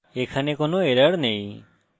আমরা দেখি যে এখানে কোনো error নেই